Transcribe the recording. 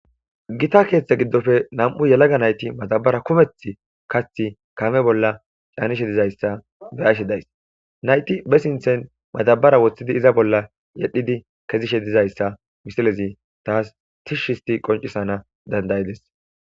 Gita keeththe giddofe nam,u yelaga nayti matabara kumeth kathi kame bolla caanishe dizayssa be ashe days nayti bessinthen matabara woththidi iza bolla yedhidi kezishe dizayssa misilezi taas tish histi qoncisana dandayides.